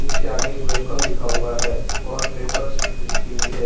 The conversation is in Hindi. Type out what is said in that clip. उसके आगे एक वेलकम लिखा हुआ है और लिखी हुई है।